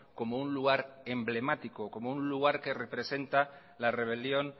como un lugar emblemático como un lugar que representa la rebelión